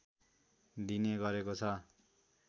दिने गरेको छ